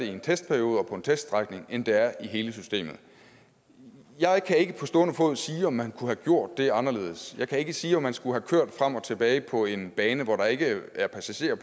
i en testperiode og på en teststrækning end det er i hele systemet jeg kan ikke på stående fod sige om man kunne have gjort det anderledes jeg kan ikke sige om man skulle have kørt frem og tilbage på en bane hvor der ikke var passagerer